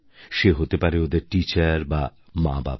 সে হতে পারে ওদের টিচার বা মাবাবা